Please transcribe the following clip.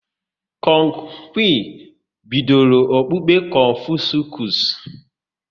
Kong Qi bidoro okpukpe Confuscus